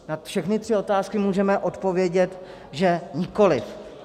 Na všechny tři otázky můžeme odpovědět, že nikoliv.